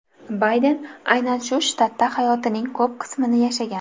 Bayden aynan ushbu shtatda hayotining ko‘p qismini yashagan.